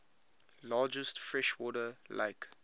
largest freshwater lake